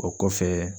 O kɔfɛ